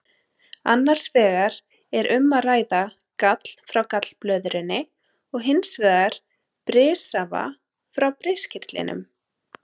Annars vegar er um að ræða gall frá gallblöðrunni og hins vegar brissafa frá briskirtlinum.